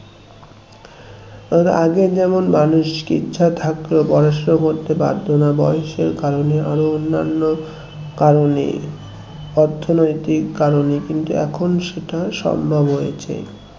তার আগে যেমন মানুষকে ইচ্ছা থাকলেও পড়াশোনা করতে বাধ্য না বয়সের কারণে আরো অন্যানো কারণে অর্থনৈতিক কারণে কিন্তু এখন সেটা সম্ভব হয়েছে